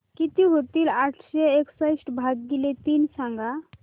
किती होईल आठशे एकसष्ट भागीले तीन सांगा